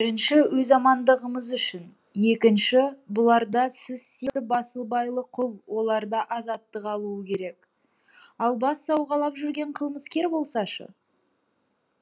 бірінші өз амандығымыз үшін екінші бұларда сіз сияақты басыбайлы құл оларда азаттық алуы керек ал бас сауғалап жүрген қылмыскер болса шы